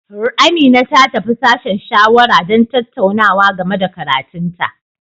Amina ta tafi sashen shawara don tattaunawa game da karatun ta.